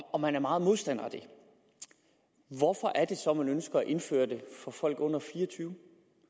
og man er meget modstander af det hvorfor er det så man ønsker at indføre det for folk under fire og tyve